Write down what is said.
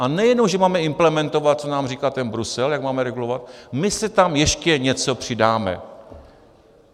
A nejenom že máme implementovat, co nám říká ten Brusel, jak máme regulovat, my si tam ještě něco přidáme.